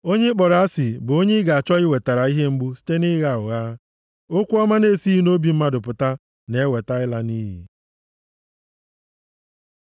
Onye ị kpọrọ asị bụ onye ị ga-achọ iwetara ihe mgbu site nʼịgha ụgha. Okwu ọma na-esighị nʼobi mmadụ pụta na-eweta ịla nʼiyi.